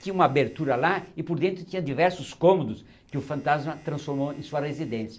Tinha uma abertura lá e por dentro tinha diversos cômodos que o fantasma transformou em sua residência.